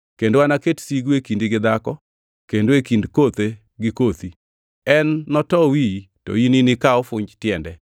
Kendo anaket sigu e kindi gi dhako, kendo e kind kothe gi kothi; en noto wiyi, to in to nika ofunj tiende.”